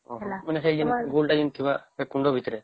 ଓ ହୋ ମାନେ ସେଇ ଗୋଲ ଟା ଯେମିତି ଥିବା ସେଇ କୁଣ୍ଡ ଭିତରେ